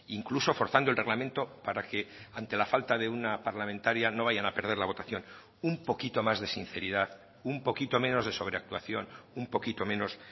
incluso forzando el reglamento para que ante la falta de una parlamentaria no vayan a perder la votación un poquito más de sinceridad un poquito menos de sobreactuación un poquito menos